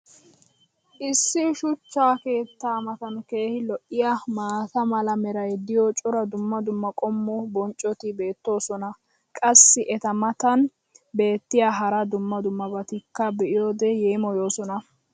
issi shuchcha keettaa matan keehi lo'iyaa maata mala meray diyo cora dumma dumma qommo bonccoti beetoosona, qassi eta matan beetiya hara dumma dummabatikka be'iyoode yeemmoyoosona.